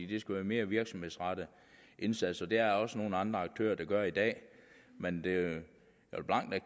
det skal være mere virksomhedsrettede indsatser det er der også nogle andre aktører der gør i dag men